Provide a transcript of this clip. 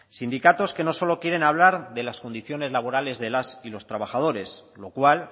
sindicatos que no solo quieren hablar de las condiciones laborales de las y los trabajadores lo cual